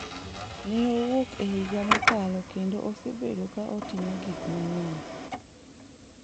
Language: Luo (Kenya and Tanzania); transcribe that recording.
Ne owuok e higa mokalo kendo osebedo ka otimo gik mang’eny.